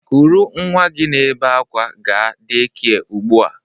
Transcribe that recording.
kuru nnwa gị na-ebe akwa gaa dekia ugbu a!